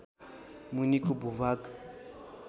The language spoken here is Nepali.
मुनिको भूभाग